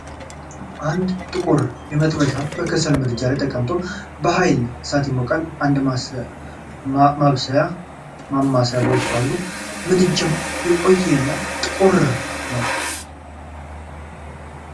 አንድ ጥቁር መጥበሻ የከሰል ምድጃ ላይ ተቅምጦ በኃይለኛ እሳት ይሞቃል። አንድ ማብሰያ ማማሰያ በውስጡ አሉ። ምድጃው የቆየ እና ጥቁር ነው።